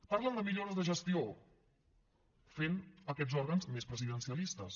parlen de millores de gestió fent aquests òrgans més presidencialistes